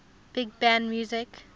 big band music